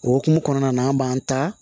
O hukumu kɔnɔna na an b'an ta